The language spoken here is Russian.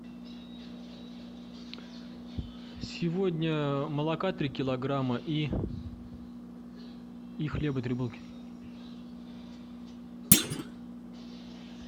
сегодня молока три килограмма и хлеба три булки